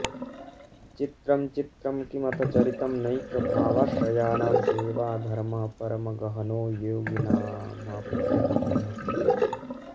चित्रं चित्रं किमथ चरितं नैकभावाश्रयाणां सेवाधर्मः परमगहनो योगिनामप्यगम्यः